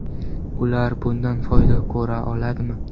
Ular bundan foyda ko‘ra oladimi?